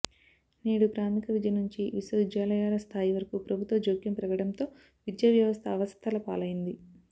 నేడు ప్రాథమిక విద్య నుంచి విశ్వవిద్యాలయాల స్థాయి వరకూ ప్రభుత్వ జోక్యం పెరగడంతో విద్యావ్యవస్థ అవస్థల పాలైంది